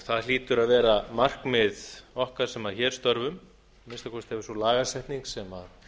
það hlýtur að vera markmið okkar sem hér störfum að minnsta kosti hefur sú lagasetning sem